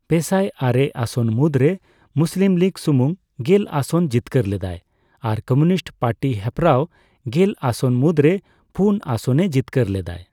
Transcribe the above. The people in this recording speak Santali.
ᱯᱮᱥᱟᱭ ᱟᱨᱮ ᱟᱥᱚᱱ ᱢᱩᱫᱽᱨᱮ ᱢᱩᱥᱞᱤᱢ ᱞᱤᱜ ᱥᱩᱢᱩᱝ ᱜᱮᱞ ᱟᱥᱚᱱ ᱡᱤᱛᱠᱟᱹᱨ ᱞᱮᱫᱟᱭ ᱟᱨ ᱠᱚᱢᱤᱩᱱᱤᱥᱴ ᱯᱟᱨᱴᱤ ᱦᱮᱯᱨᱟᱣ ᱜᱮᱞ ᱟᱥᱚᱱ ᱢᱩᱫᱽᱨᱮ ᱯᱩᱱ ᱟᱥᱚᱱᱮ ᱡᱤᱛᱠᱟᱹᱨ ᱞᱮᱫᱟᱭ᱾